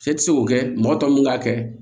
E ti se k'o kɛ mɔgɔ tɔw mun b'a kɛ